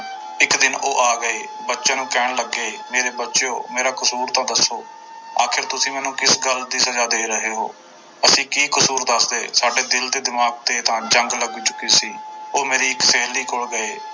ਇੱਕ ਦਿਨ ਆ ਗਏ ਬੱਚਿਆਂ ਨੂੰ ਕਹਿਣ ਲੱਗੇ, ਮੇਰੇ ਬੱਚਿਓ ਮੇਰਾ ਕਸੂਰ ਤਾਂ ਦੱਸੋ, ਆਖਿਰ ਤੁਸੀਂ ਮੈਨੂੰ ਕਿਸ ਗੱਲ ਦੀ ਸਜਾ ਦੇ ਰਹੋ ਹੋ, ਅਸੀਂ ਕੀ ਕਸੂਰ ਦੱਸਦੇ, ਸਾਡੇ ਦਿਲ ਤੇ ਦਿਮਾਗ ਤੇ ਤਾਂ ਜੰਗ ਲੱਗ ਚੁੱਕੀ ਸੀ, ਉਹ ਮੇਰੀ ਇੱਕ ਸਹੇਲੀ ਕੋਲ ਗਏ।